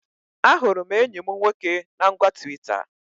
Ahụrụ m enyi mụ nwoke na ngwa Twita